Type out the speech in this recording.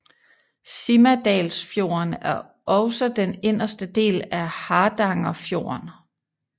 Simadalsfjorden er også den inderste del af Hardangerfjorden